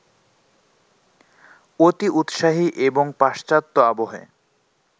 অতিউৎসাহী এবং পাশ্চাত্য-আবহে